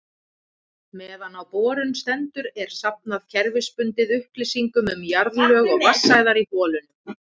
Meðan á borun stendur er safnað kerfisbundið upplýsingum um jarðlög og vatnsæðar í holunum.